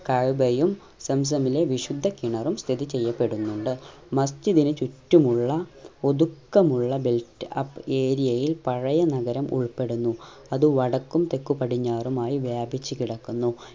കഅബയും സംസമില വിശുദ്ധ കിണറും സ്ഥിതി ചെയ്യപെടുന്നിണ്ട് മസ്ജിദിന് ചുറ്റുമുള്ള ഒതുക്കമുള്ള build up area യിൽ പഴയെ നഗരം ഉൾപ്പെടുന്നു അത് വടക്കും തെക്കു പടിഞ്ഞാറും ആയി വ്യാപിച്ചു കിടക്കുന്നു